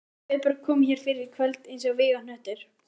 TRYGGVI: Guðbjörg kom hér fyrr í kvöld eins og vígahnöttur.